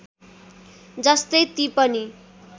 जस्तै ती पनि